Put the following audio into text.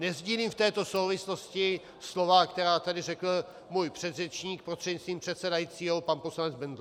Nesdílím v této souvislosti slova, která tady řekl můj předřečník, prostřednictvím předsedajícího pan poslanec Bendl.